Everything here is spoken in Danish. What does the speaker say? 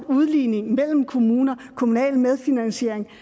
udligningen mellem kommuner og kommunal medfinansiering